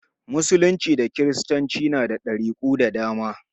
Musulunci da kiristanci na da ɗariku da dama.